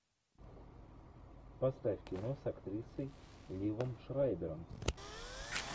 поставь кино с актрисой ливом шрайбером